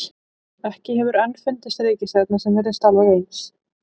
Ekki hefur enn fundist reikistjarna sem virðist alveg eins.